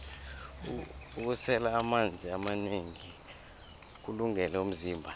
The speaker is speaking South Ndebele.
ukusela amanzi amanengi kuwulungele umzimba